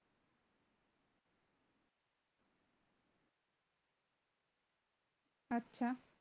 আচ্ছা